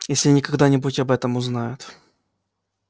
если они когда-нибудь об этом узнают